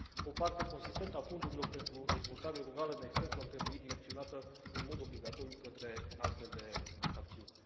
O parte consistentă a fondurilor pentru dezvoltare rurală, de exemplu, ar trebui direcționată în mod obligatoriu către astfel de acțiuni.